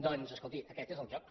doncs escolti aquest és el joc